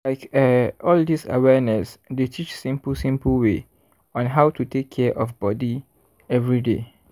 like eh all dis awareness dey teach simple simple way on how to take care of body everyday.